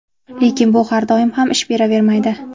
Lekin bu har doim ham ish beravermaydi.